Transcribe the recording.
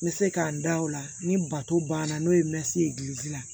N bɛ se ka n da o la ni bato banna n'o ye ye la